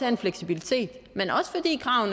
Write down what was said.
en fleksibilitet